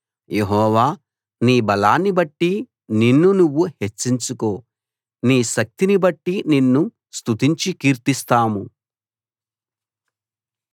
యెహోవా నీ బలాన్నిబట్టి నిన్ను నువ్వు హెచ్చించుకో నీ శక్తిని బట్టి నిన్ను స్తుతించి కీర్తిస్తాము